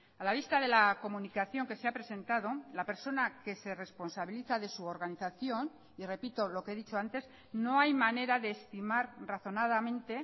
a la vista de la comunicación que se ha presentado la persona que se responsabiliza de su organización y repito lo que he dicho antes no hay manera de estimar razonadamente